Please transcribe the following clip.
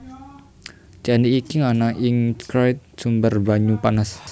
Candi iki ana ing cerak sumber banyu panas